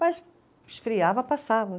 Mas esfriava, passava.